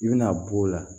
I bɛna b'o la